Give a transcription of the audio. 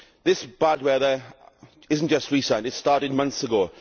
This bad weather is not just recent, it started months ago.